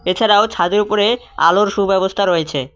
এছাড়াও ছাদের উপরে আলোর সুব্যবস্থা রয়েছে।